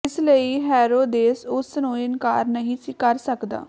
ਇਸ ਲਈ ਹੇਰੋਦੇਸ ਉਸ ਨੂੰ ਇਨਕਾਰ ਨਹੀਂ ਸੀ ਕਰ ਸੱਕਦਾ